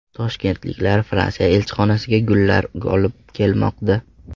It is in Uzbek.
Toshkentliklar Fransiya elchixonasiga gullar olib kelmoqda.